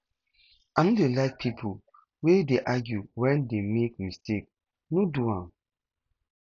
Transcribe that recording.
i no dey like pipo wey dey argue wen dey make mistake no do am